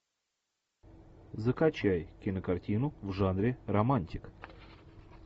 закачай кинокартину в жанре романтика